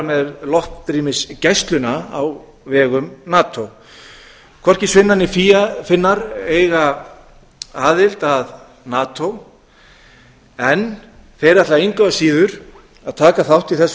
með loftrýmisgæsluna á vegum nato hvorki svíar né finnar eiga aðild að nato en þeir ætla engu að síður að taka þátt í þessu